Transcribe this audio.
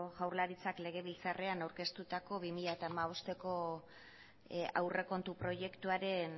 jaurlaritzak legebiltzarrean aurkeztutako bi mila hamabosteko aurrekontu proiektuaren